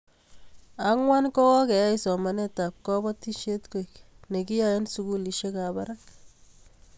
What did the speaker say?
Angwan ko keyai somanetab kobotisiet koek nekiyaei eng sukulisiekap barak